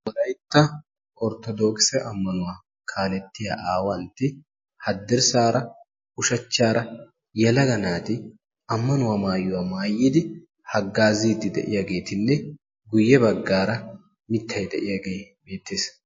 Wolaytta orttodookkise ammanuwa kaaletiya aawantti haddirsaara ushachchaara yelaga naati ammanuwa maayuwa maaayidi hagaaziidi de'iyaageetinne guye bagaara mitay diyagee beettees.